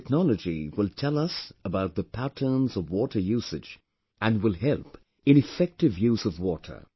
This technology will tell us about the patterns of water usage and will help in effective use of water